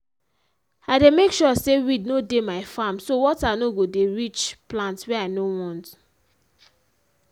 i dey make sure say weed no dey my farmm so water no go dey reach plant wey i no want